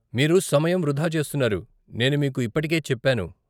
మీరు సమయం వృధా చేస్తున్నారు, నేను మీకు ఇప్పటికే చెప్పాను.